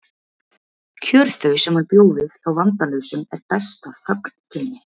Kjör þau sem hann bjó við hjá vandalausum er best að þögn geymi.